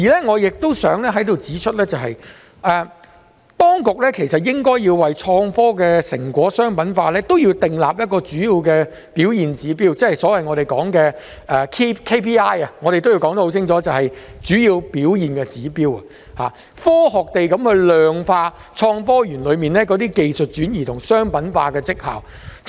我亦想在此指出，當局其實應該要為創科的成果商品化訂立一個主要表現指標，即是我們所謂的 KPI， 我要說清楚便是主要表現指標，應該科學地量化創科園中的技術轉移及商品化的績效。